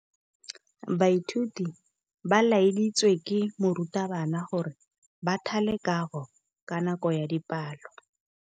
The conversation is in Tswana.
Baithuti ba laeditswe ke morutabana gore ba thale kagô ka nako ya dipalô.